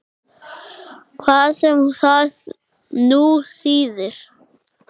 Hvað sem það nú þýðir!